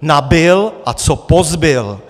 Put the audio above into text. nabyl a co pozbyl.